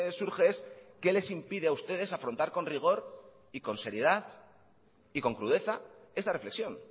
surge es qué les impide a ustedes afrontar con rigor y con seriedad y con crudeza esta reflexión